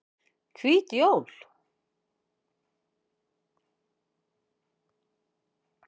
Hvít jól